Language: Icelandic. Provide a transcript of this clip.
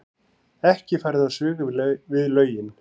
Ekki farið á svig við lögin